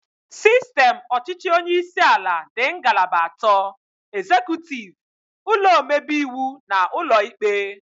Sistem ọchịchị onyeisi ala dị ngalaba atọ, ezekutiv, ụlọ omebe iwu na ụlọ ikpe